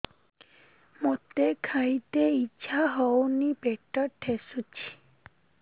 ମୋତେ ଖାଇତେ ଇଚ୍ଛା ହଉନି ପେଟ ଠେସୁଛି